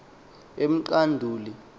emqanduli